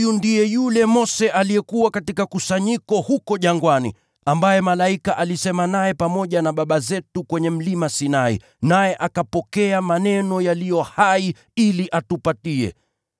Huyu ndiye yule Mose aliyekuwa katika kusanyiko huko jangwani, ambaye malaika alisema naye pamoja na baba zetu kwenye Mlima Sinai, naye akapokea maneno yaliyo hai ili atupatie.